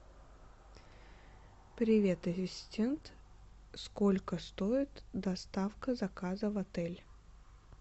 привет ассистент сколько стоит доставка заказа в отель